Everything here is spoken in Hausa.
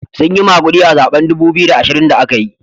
Sun yi magudi a zaben dubu biyu da ashirin da aka yi.